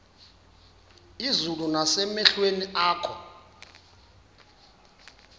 izulu nasemehlweni akho